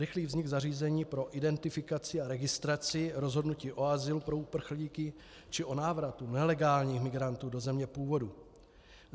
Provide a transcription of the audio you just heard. Rychlý vznik zařízení pro identifikaci a registraci rozhodnutí o azylu pro uprchlíky či o návratu nelegálních migrantů do země původu.